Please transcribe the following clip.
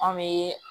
An bɛ